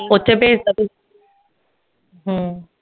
ਓਥੇ ਭੇਜਤਾ ਤੁਸੀਂ ਹਮ